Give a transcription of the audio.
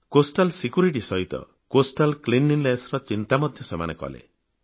ତଟ ସୁରକ୍ଷା ସହିତ ତଟୀୟ ସ୍ବଚ୍ଛତା ଅଭିଯାନର ଚିନ୍ତା ମଧ୍ୟ ସେମାନେ କଲେ